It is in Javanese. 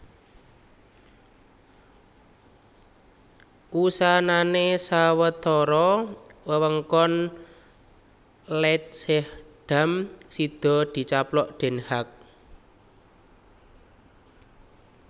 Wusanané sawetara wewengkon Leidschendam sida dicaplok Den Haag